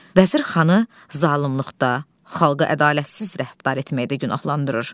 Vəzir xanı zalımlıqda, xalqa ədalətsiz rəftar etməkdə günahlandırır.